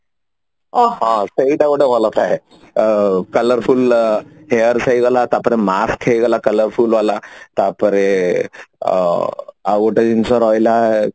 ଅ ହ ସେଇଟା ଗୋଟେ ଭଲ ଥାଏ ଅ colorful hairs ହେଇଗଲା ତାପରେ mask ହେଇଗଲା colorful ବାଲା ତାପରେ ଅ ଆଉ ଗୋଟେ ଜିନିଷ ରହିଲା